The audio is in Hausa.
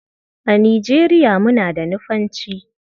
A Nigeriya muna da Nufanci.